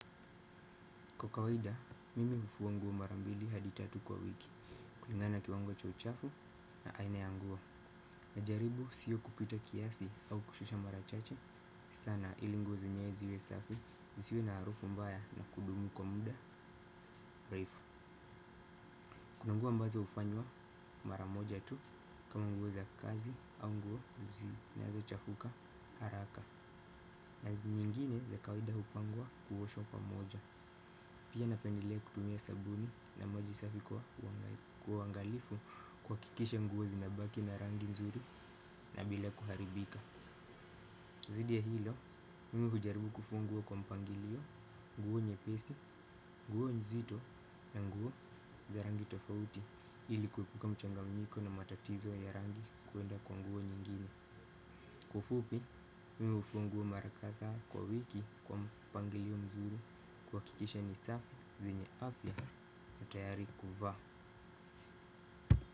Kwa kawaida, mimi hufua nguo mara mbili hadi tatu kwa wiki kulinga na kiwango cha uchafu na aina ya nguo najaribu sio kupita kiasi au kushusha mara chache sana ili nguo zenyewe ziwe safi zisiwe na harufu mbaya na kudumu kwa muda refu. Kuna nguo ambazo hufanywa mara moja tu kama nguo za kazi au nguo zinazochafuka haraka. Na nyingine za kawaida hupangwa kuoshwa pamoja. Pia napendelea kutumia sabuni na moji safi kwa uangalifu kuhakikisha nguo zinabaki na rangi nzuri na bila kuharibika. Zaidi ya hilo, mimi hujaribu kufua kwa mpangilio, nguo nyepesi, nguo nzito na nguo za rangi tofauti ili kuepuka mchanganyiko na matatizo ya rangi kuenda kwa nguo nyingine. Kwa ufupi, mimi hufua nguo mara kadhaa kwa wiki kwa mpangilio mzuri kuhakikisha ni safi zenye afya na tayari kuvaa.